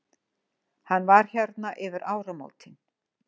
Hann var hérna yfir áramótin.